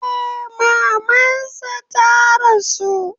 Eh, maman sa ta rasu.